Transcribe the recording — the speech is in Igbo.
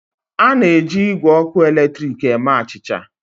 A na-eji igwe ọkụ eletrik eme achịcha.